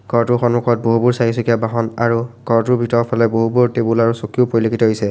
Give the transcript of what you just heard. ঘৰটোৰ সন্মুখত বহুবোৰ চাৰিচকীয়া বাহন আৰু ঘৰটোৰ ভিতৰ ফালে বহুবোৰ টেবুল আৰু চকীও পৰিলক্ষিত হৈছে।